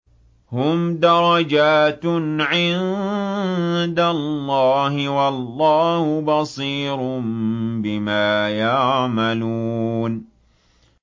هُمْ دَرَجَاتٌ عِندَ اللَّهِ ۗ وَاللَّهُ بَصِيرٌ بِمَا يَعْمَلُونَ